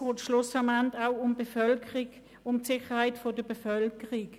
Schlussendlich geht es auch um die Sicherheit der Bevölkerung.